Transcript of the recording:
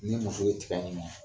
Ni muso ye tiga ɲimi